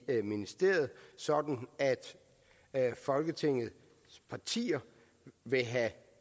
ministeriet sådan at folketingets partier vil have